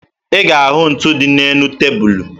Ị ga-ahụ ntu dị n'elu tebulu